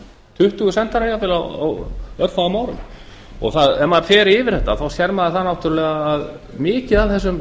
tuttugu sendiherrar jafnvel á örfáum árum ef maður fer yfir þetta sér maður náttúrulega að mikið af þessum